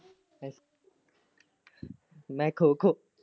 ਮੈਂ ਖੋ ਖੋ।